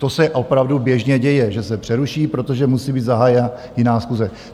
To se opravdu běžně děje, že se přeruší, protože musí být zahájena jiná schůze.